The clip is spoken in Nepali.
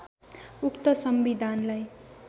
उक्त संविधानलाई